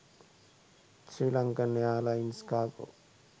sri lankan airlines cargo